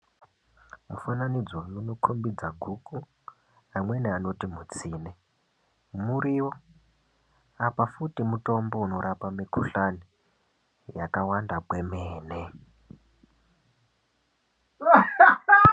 Mufananidzo unokombidza guku amweni anoti mutsine. Muriwo apa futi mutombo unorapa mikuhlani yakawanda kwemene.